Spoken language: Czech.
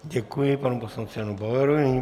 Děkuji panu poslanci Janu Bauerovi.